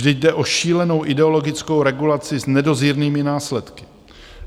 Vždyť jde o šílenou ideologickou regulaci s nedozírnými následky!